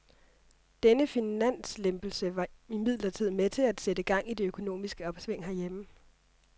Denne finanslempelse var imidlertid med til at sætte gang i det økonomiske opsving herhjemme.